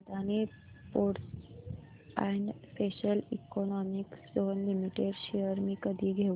Adani ports and special economic zone limited shares मी कधी घेऊ